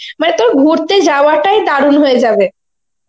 মানে তোর ঘুরতে যাওয়া টাই দারুন হয়ে যাবে.